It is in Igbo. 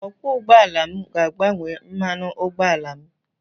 Okwọọ ụgbọala m ga-agbanwe mmanụ ụgbọala m.